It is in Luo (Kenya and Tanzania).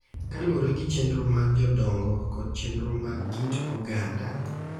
Kaluwore gi chenro mag jodongo kod chenro mag kit oganda,